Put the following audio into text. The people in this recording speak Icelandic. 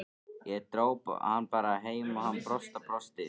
Ég dró hann bara heim og hann brosti og brosti.